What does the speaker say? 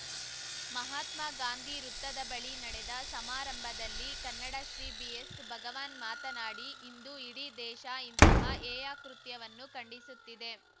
ಮಹಾತ್ಮ ಗಾಂಧಿ ವೃತ್ತದ ಬಳಿ ನಡೆದ ಸಮಾರಂಭದಲ್ಲಿ ಕನ್ನಡಶ್ರೀ ಬಿಎಸ್‌ ಭಗವಾನ್‌ ಮಾತನಾಡಿ ಇಂದು ಇಡೀ ದೇಶ ಇಂತಹ ಹೇಯಕೃತ್ಯವನ್ನು ಖಂಡಿಸುತ್ತಿದೆ